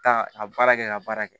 Taa a baara kɛ ka baara kɛ